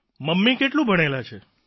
mummy કેટલું ભણેલા છે